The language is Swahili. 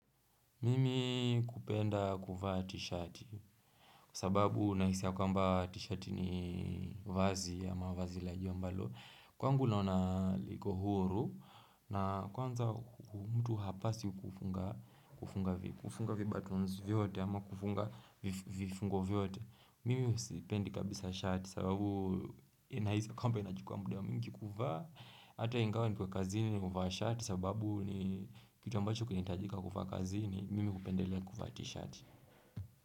Mimi kupenda kuvaa t-shirt kwa sababu nahisi ya kwamba t-shirt ni vazi ama mawazi lajuu ambalo kwangu naona liko huru na kwanza mtu hapaswi kufunga kufunga kufunga vibaton vyote ama kufunga vifungo vyote mimi sipendi kabisa shati sababu nahisi ya kwamba inachukuwa muda mwingi kuvaa Ata ingawa niko kazini ni huvaa shati sababu ni kitu ambacho kinitajika kuvaa kazini mimi kupendele kufa t-shirt.